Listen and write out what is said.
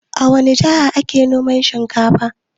A wani jiha ake noman shinkafa?